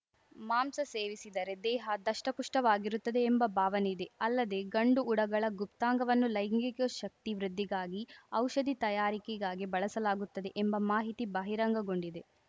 ಮಾಂಸ ಸೇವಿಸಿದರೆ ದೇಹ ದಷ್ಟಪುಷ್ಟವಾಗಿರುತ್ತದೆ ಎಂಬ ಭಾವನೆ ಇದೆ ಅಲ್ಲದೇ ಗಂಡು ಉಡಗಳ ಗುಪ್ತಾಂಗವನ್ನು ಲೈಂಗಿಕ ಶಕ್ತಿ ವೃದ್ಧಿಗಾಗಿ ಔಷಧಿ ತಯಾರಿಕೆಗಾಗಿ ಬಳಸಲಾಗುತ್ತದೆ ಎಂಬ ಮಾಹಿತಿ ಬಹಿರಂಗಗೊಂಡಿದೆ